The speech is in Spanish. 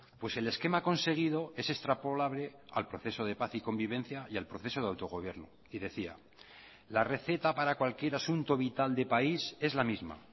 pues el esquema conseguido es extrapolable al proceso de paz y convivencia y al proceso de autogobierno y decía la receta para cualquier asunto vital de país es la misma